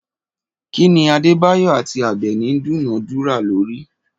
Kí ni Adébáyọ̀ àti Àbẹ̀ní dúnàádúrà lórí?